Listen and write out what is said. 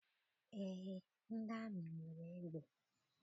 Eé, ndị amị nwere egbe